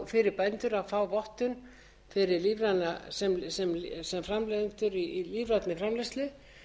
fyrir bændur að fá vottun sem framleiðendur í lífrænni framleiðslu